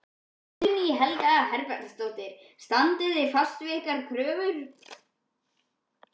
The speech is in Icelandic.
Guðný Helga Herbertsdóttir: Standið þið fast á ykkar kröfum?